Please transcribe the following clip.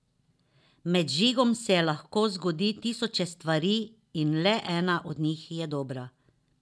Med vžigom se lahko zgodi tisoče stvari, in le ena od njih je dobra.